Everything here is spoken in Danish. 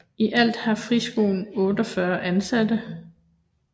I alt har friskolen 48 ansatte